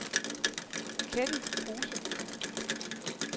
Ketty Kruse